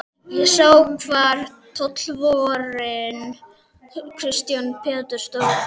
Ég sá hvar tollvörðurinn Kristján Pétursson stóð álengdar.